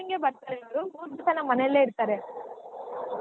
ಬರ್ತಾರೆ ಅವ್ರು ಮೂರ್ ದಿವ್ಸ ನಮ್ ಮನೆಲೆ ಇರ್ತಾರೆ.